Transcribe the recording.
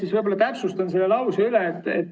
Ma kõigepealt täpsustan selle lause üle.